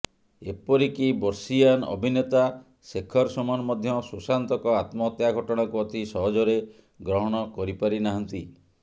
ଏପରିକି ବର୍ଷୀୟାନ୍ ଅଭିନେତା ଶେଖର ସୁମନ ମଧ୍ୟ ସୁଶାନ୍ତଙ୍କ ଆତ୍ମହତ୍ୟା ଘଟଣାକୁ ଅତି ସହଜରେ ଗ୍ରହଣ କରିପାରି ନାହାନ୍ତି